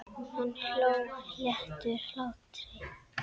Hann hló léttum hlátri.